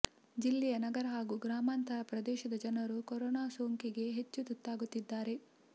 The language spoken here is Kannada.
ಜಿಲ್ಲೆಯ ನಗರ ಹಾಗೂ ಗ್ರಾಮಾಂತರ ಪ್ರದೇಶದ ಜನರು ಕೊರೊನಾ ಸೋಂಕಿಗೆ ಹೆಚ್ಚು ತುತ್ತಾಗುತ್ತಿದ್ದಾರೆ